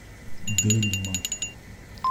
дельма